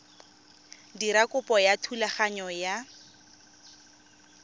dira kopo ya thulaganyo ya